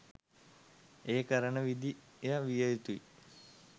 ඒ කරන විදිය විය යුතුයි.